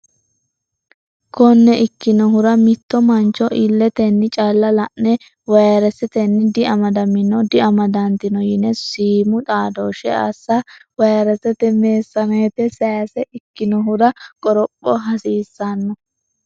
Konne ikkinohura mitto mancho illetenni calla la ne vayresetenni diamadamino diamadantino yine siimu xaadooshshe assa vayresete meessaneete sayse ikkinohura qoropha hasiissanno.